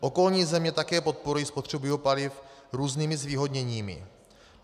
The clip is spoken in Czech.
Okolní země také podporují spotřebu biopaliv různými zvýhodněními.